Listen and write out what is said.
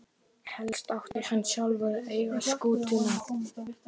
Helst átti hann sjálfur að eiga skútuna.